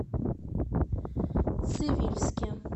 цивильске